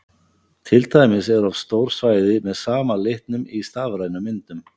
Til dæmis eru oft stór svæði með sama litnum í stafrænum myndum.